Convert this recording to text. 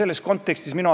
Aga mis on tulemus?